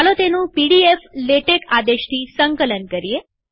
ચાલો તેનું પીડીફ્લેટેક્સ આદેશથી સંકલન કરીએ